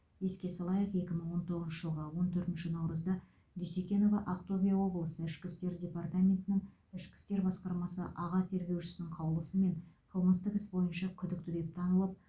еске салайық екі мың он тоғызыншы жылғы он төртінші наурызда дюсекенова ақтөбе облысы ішкі істер департаментінің ішкі істер басқармасы аға тергеушісінің қаулысымен қылмыстық іс бойынша күдікті деп танылып